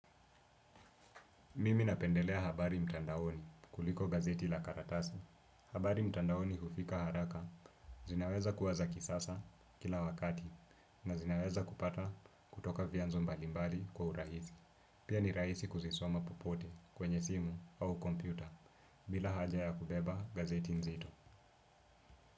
Mimi napendelea habari mtandaoni kuliko gazeti la karatasi. Habari mtandaoni hufika haraka, zinaweza kuwa za kisasa kila wakati na zinaweza kupata kutoka vyanzo mbalimbali kwa urahisi. Pia ni rahisi kuzisoma popote kwenye simu au kompyuta bila haja ya kubeba gazeti zito.